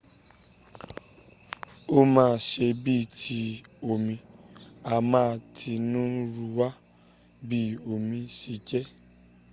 o ma se bii ti omi a ma tinirunwa bi omi se je